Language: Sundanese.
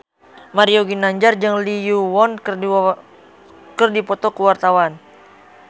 Mario Ginanjar jeung Lee Yo Won keur dipoto ku wartawan